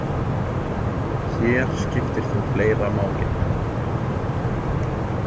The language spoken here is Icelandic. Hér skiptir þó fleira máli.